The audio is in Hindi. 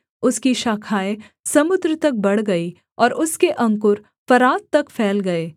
उसकी शाखाएँ समुद्र तक बढ़ गई और उसके अंकुर फरात तक फैल गए